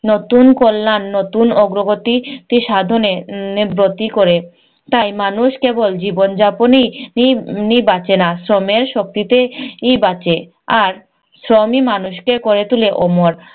নতুন কল্যাণ, নতুন অগ্রগতি সাধনে এর ব্রতী করে। তাই মানুষ কেবল জীবনযাপনেই এই নেই বাঁচে না, শ্রমের শক্তিতে এই বাঁচে। আর শ্রমই মানুষকে করে তুলে অমর।